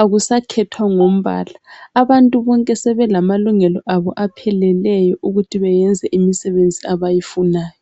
akusakhethwa ngombala abantu bonke sebelamalungelo abo apheleleyo ukuthi beyenze imisebenzi abayifunayo.